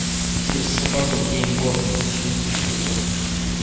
через собаку гейм бот напиши просто